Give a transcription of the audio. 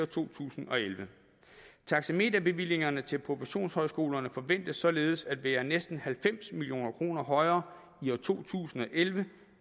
to tusind og elleve taxameterbevillingerne til professionshøjskolerne forventes således at være næsten halvfems million kroner højere i to tusind og elleve